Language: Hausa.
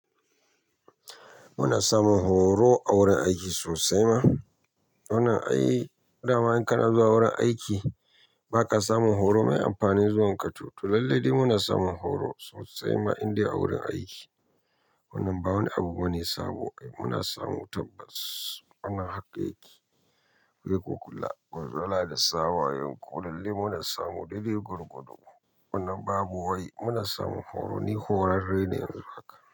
Muna samun horo a wurin aiki sosai ma. Wannan ai, dama in kana zuwa wurin aiki ba ka samun horo mai amfani zuwan ka, to lallai dai muna samun horo sosai ma indai a wurin aiki. Wannan ba wani abu bane sabo. Muna samu tabbas, wannan haka yake. Riko kula, gwandala da sa wayoyi, ko lallai muna samu daidai gorgwado. Wannan babu wai, muna samun horo, ni horarre ne haka.